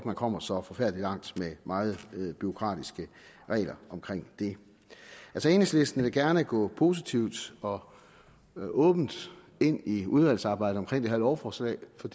man kommer så forfærdelig langt med meget bureaukratiske regler om det enhedslisten vil gerne gå positivt og åbent ind i udvalgsarbejdet om det her lovforslag for